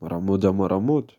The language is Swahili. maramoja maramoja.